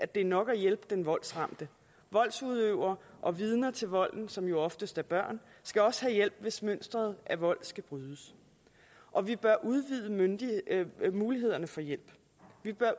det er nok at hjælpe den voldsramte voldsudøverne og vidner til volden som jo oftest er børn skal også have hjælp hvis mønsteret af vold skal brydes og vi bør udvide mulighederne for hjælp